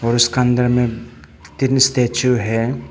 और उसका अंदर में तीन स्टैचू है।